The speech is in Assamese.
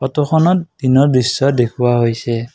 ফটোখনত দিনৰ দৃশ্য দেখুওৱা হৈছে।